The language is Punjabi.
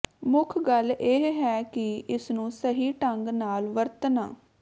ਮੁੱਖ ਗੱਲ ਇਹ ਹੈ ਕਿ ਇਸਨੂੰ ਸਹੀ ਢੰਗ ਨਾਲ ਵਰਤਣਾ